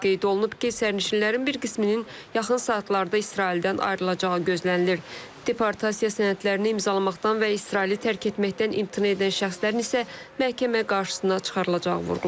Qeyd olunub ki, sərnişinlərin bir qisminin yaxın saatlarda İsraildən ayrılacağı gözlənilir, deportasiya sənədlərini imzalamaqdan və İsraili tərk etməkdən imtina edən şəxslərin isə məhkəmə qarşısına çıxarılacağı vurğulanıb.